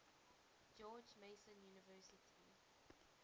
george mason university